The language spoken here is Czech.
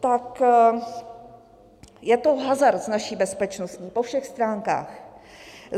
Pak je to hazard s naší bezpečností po všech stránkách.